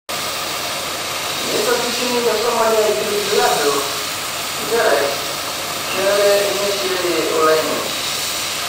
Neitoki sininje Somalia aigilgilaajo njere kenare nisiririari olaini